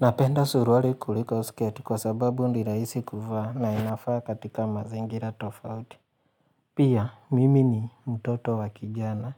Napenda suruari kuliko sketi kwa sababu ni rahisi kuvaa na inafaa katika mazingira tofauti. Pia, mimi ni mtoto wa kijana